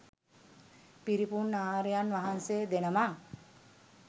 පිරිපුන් ආර්යයන් වහන්සේ දෙනමක්.